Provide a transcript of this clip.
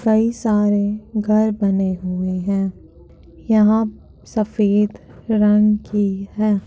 कई सारे घर बने हुए हैं यहाँ सफ़ेद रंग की है।